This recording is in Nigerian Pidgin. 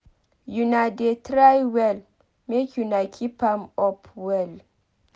Una dey try well make una keep am up well.